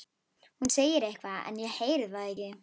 Hún segir eitthvað en ég heyri það ekki.